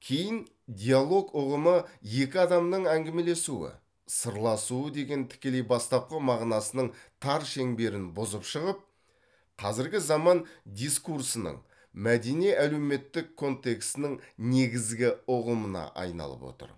кейін диалог ұғымы екі адамның әңгімелесуі сырласуы деген тікелей бастапқы мағынасының тар шеңберін бұзып шығып қазіргі заман дискурсының мәдени әлеуметтік контексінің негізгі ұғымына айналып отыр